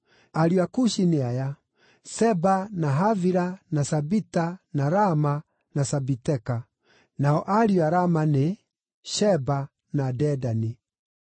Ariũ a Kushi nĩ aya: Seba, na Havila, na Sabita, na Raama, na Sabiteka. Nao ariũ a Raama nĩ: Sheba, na Dedani.